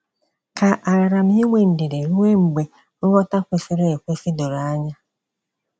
Ka àgaara m inwe ndidi ruo mgbe nghọta kwesịrị ekwesị doro anya?